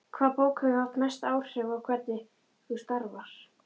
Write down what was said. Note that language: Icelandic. Hvaða bók hefur haft mest áhrif á hvernig þú starfar?